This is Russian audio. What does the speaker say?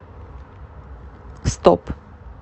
стоп